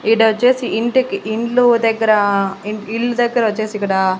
ఇడొచ్చేసి ఇంటికి ఇండ్లు దగ్గర ఇ ఇల్లు దగ్గరొచ్చేసి ఇక్కడ--